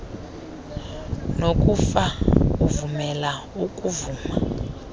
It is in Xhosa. nokufa uvumela ukuvuma